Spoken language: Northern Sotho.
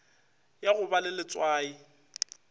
ya go ba le letswai